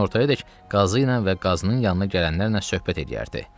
Günortayadək qazı ilə və qazının yanına gələnlərlə söhbət eləyərdi.